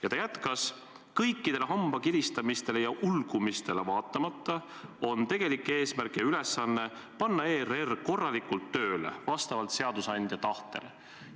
" Ja ta jätkas: "Kõikidele hambakiristamistele ja ulgumistele vaatamata on tegelik eesmärk ja ülesanne panna ERR korralikult tööle vastavalt seadusandja tahtele.